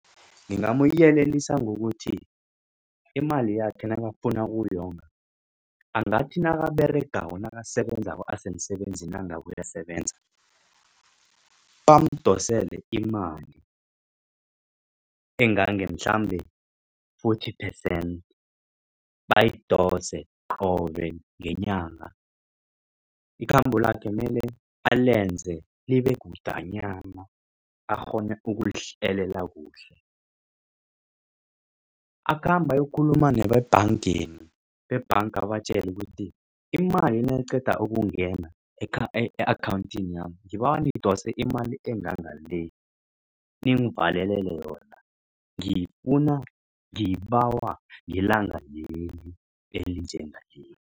Ngingamyelelisa ngokuthi imali yakhe nakafuna ukuyonga angathi nakaberegako nakasebenzako asemsebenzini nangabe uyasebenza bamdosele imali engange mhlambe forty percent bayidose qobe ngenyanga. Ikhambo lakhe mele alenze libekudanyana akghone ukulihlelela kuhle. Akhambe ayokukhuluma nebebhangeni bebhanga abatjele ukuthi imali nayiqeda ukungena yami nidose imali enganga le ningivalele yona ngiyifuna ngiyibawa ngelanga leli elinjengaleli.